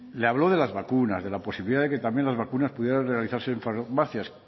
le habló de las vacunas de la posibilidad de que también las vacunas pudieran realizarse en farmacias